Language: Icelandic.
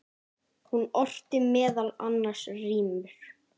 Hún orti meðal annars rímur.